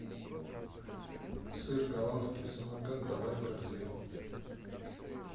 сыр голландский самокат добавь в корзину